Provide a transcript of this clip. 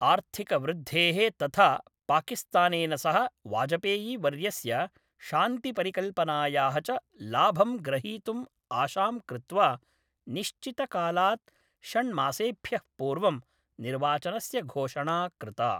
आर्थिकवृद्धेः तथा पाकिस्तानेन सह वाजपेयीवर्यस्य शान्तिपरिकल्पनायाः च लाभं ग्रहीतुम् आशां कृत्वा, निश्चितकालात् षण्मासेभ्यः पूर्वं निर्वाचनस्य घोषणा कृता।